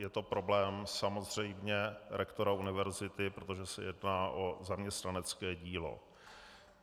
Je to problém samozřejmě rektora univerzity, protože se jedná o zaměstnanecké dílo.